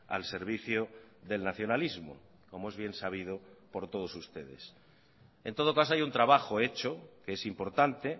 al servicio del nacionalismo como es bien sabido por todos ustedes en todo caso hay un trabajo hecho que es importante